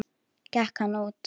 Gekk hann út.